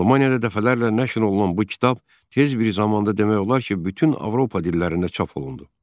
Almaniyada dəfələrlə nəşr olunan bu kitab tez bir zamanda demək olar ki, bütün Avropa dillərində çap olundu.